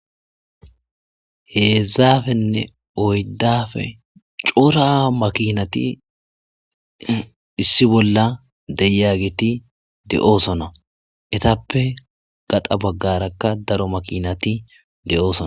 Heezaafenne oyddafe cora makinati issi bolla deya giti de7oosona etappe gaxa baggarakka daro makinati de,oson.